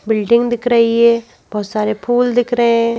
Building दिख रही है बहुत सारे फूल दिख रहे हैं।